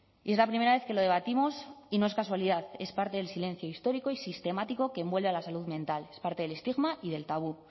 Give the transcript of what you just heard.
y es la primera vez que lo debatimos y no es casualidad es parte del silencio histórico y sistemático que envuelve a la salud mental es parte del estigma y del tabú